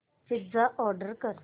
pizza order कर